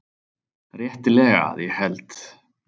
Réttilega að ég held.